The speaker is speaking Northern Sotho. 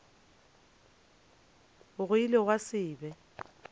go ile gwa se be